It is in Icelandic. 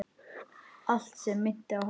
Allt sem minnti á hana.